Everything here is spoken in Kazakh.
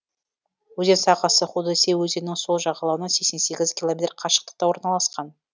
өзен сағасы худосей өзенінің сол жағалауынан сексен сегіз километр қашықтықта орналасқан